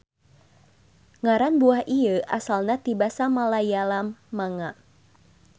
Ngaran buah ieu asalna ti basa Malayalam manga.